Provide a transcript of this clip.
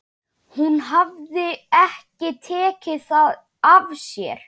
Hún hafði ekki tekið það af sér.